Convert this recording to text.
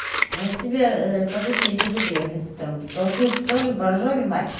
может тебе по пути если буду ехать там толкнуть тоже боржоми мать